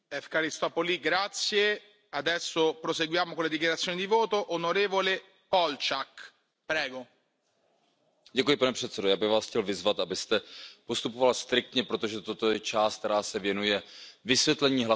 Pane předsedající, já bych vás chtěl vyzvat, abyste postupoval striktně, protože toto je část, která se věnuje vysvětlení hlasování, a je možný pouze právě pro tuto část a myslím, že pan kolega k tomu vůbec nehovořil.